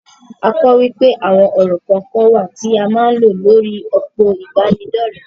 A kò wípé àwon ọ̀rọ̀ kọ̀ọ̀kan wà tí a máa ń lo lórí òpó ìbánidọ́rẹ̀.